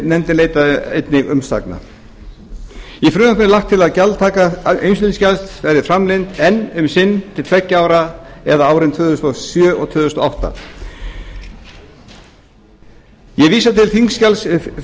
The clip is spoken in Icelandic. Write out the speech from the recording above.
nefndin leitaði einnig umsagna í frumvarpinu er lagt til að gjaldtaka umsýslugjalds verði framlengd enn um sinn til tveggja ára eða árin tvö þúsund og sjö og tvö þúsund og átta ég vísa til þingskjals